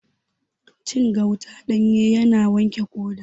Cin gauta ɗanye yana wanke ƙoda